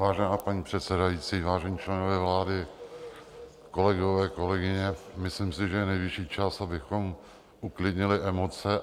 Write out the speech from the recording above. Vážená paní předsedající, vážení členové vlády, kolegově, kolegyně, myslím si, že je nejvyšší čas, abychom uklidnili emoce.